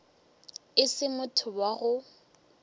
e se motho wa go